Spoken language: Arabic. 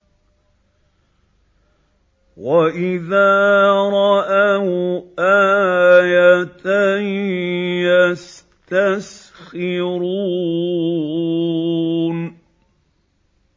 وَإِذَا رَأَوْا آيَةً يَسْتَسْخِرُونَ